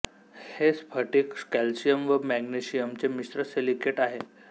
हे स्फटिक कॅल्शियम व मॅग्नेशियमचे मिश्र सिलिकेट आहे